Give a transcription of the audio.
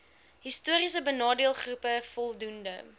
histories benadeeldegroepe voldoende